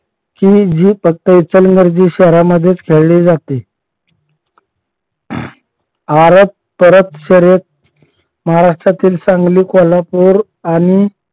की जी फक्त इचलकरंजी शहरांमध्येच खेळली जाते. आरत परत शर्यत महाराष्ट्रातील सांगली कोल्हापूर आणि